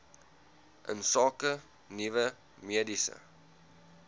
insake nuwe mediese